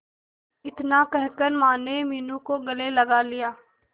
इतना कहकर माने मीनू को गले लगा लिया